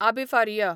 Abbe Faria